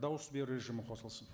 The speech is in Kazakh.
дауыс беру режимі қосылсын